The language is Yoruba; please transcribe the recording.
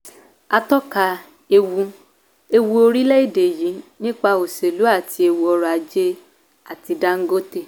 atọ́ka ewu ewu orílẹ̀ èdè yí nípa òṣèlú àti ewu ọrọ̀ ajé àti dangote.